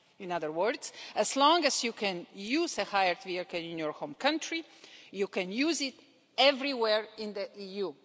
In other words, as long as you can use a hired vehicle in your home country, you can use it everywhere in the EU.